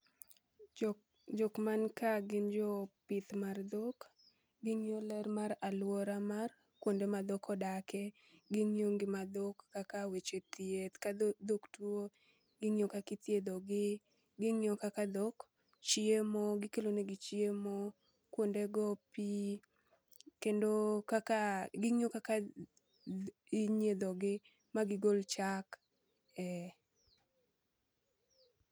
Jok jok man ka gin jo pith mar dhok, ging'iyo ler mar alwora mar kuonde ma dhok odake. Ging'iyo ngima dhok kaka weche thieth ka dhok tuo, ging'iyo kakithiedho gi. Ging'iyo kaka dhok chiemo, gikelo negi chiemo, kuonde go pi. Kendo kaka ging'iyo kaka inyiedho gi, ma gigol chak. Ee.